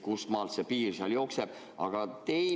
Kustmaalt see piir jookseb?